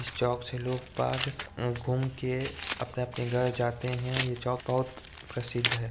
इस चौक से लोग पाग घूम के अपने-अपने घर जाते हैं ये चौक बहुत प्रसिद्ध है।